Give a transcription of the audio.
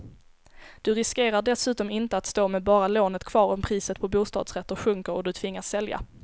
Du riskerar dessutom inte att stå med bara lånet kvar om priset på bostadsrätter sjunker och du tvingas sälja.